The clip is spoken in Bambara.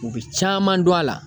U bi caman dun a la.